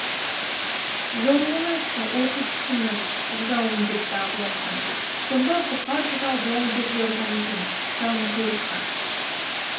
жоруын айтшы осы түсімнің жырауым депті абылай хан сонда бұқар жырау былай деп жорыған екен жалынқұйрыққа